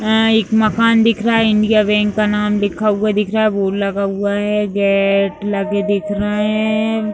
अं एक मकान दिख रहा है इंडिया बैंक का नाम लिखा हुआ दिख रहा है बोर्ड लगा हुआ है गे-गेट लगे दिख रहे है।